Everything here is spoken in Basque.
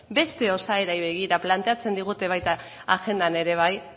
beste osaerei begira planteatzen digute baita agendan ere bai